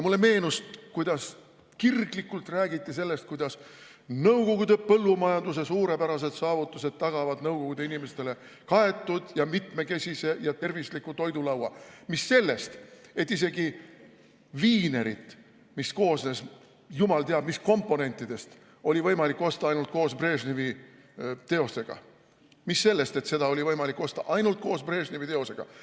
Mulle meenus, kuidas kirglikult räägiti sellest, et nõukogude põllumajanduse suurepärased saavutused tagavad nõukogude inimestele kaetud, mitmekesise ja tervisliku toidulaua, mis sellest, et isegi viinerit, mis koosnes jumal teab mis komponentidest, oli võimalik osta ainult koos Brežnevi teosega.